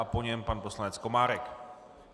A po něm pan poslanec Komárek.